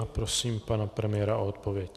A prosím pana premiéra o odpověď.